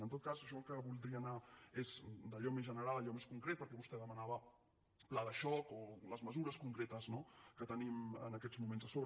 en tot cas jo el que voldria anar és d’allò més general a allò més concret perquè vostè demanava pla de xoc o les mesures concretes no que tenim en aquests moments a sobre